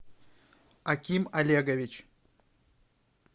аким олегович